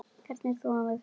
Hvernig þvoum við fötin?